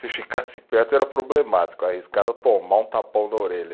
Se ficasse perto era problemático, arriscado a tomar um tapão na orelha.